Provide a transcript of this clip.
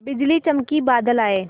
बिजली चमकी बादल आए